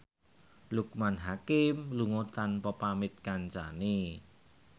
Loekman Hakim lunga tanpa pamit kancane